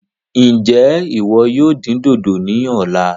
Njẹ iwọ yóò dín dodo ní ọ̀la?